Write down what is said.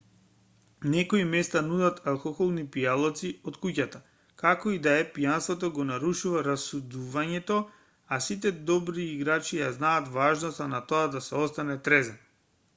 некои места нудат алкохолни пијалаци од куќата како и да е пијанството го нарушува расудувањето а сите добри играчи ја знаат важноста на тоа да се остане трезен